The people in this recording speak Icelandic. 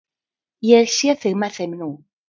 Ég sé þig með þeim nú.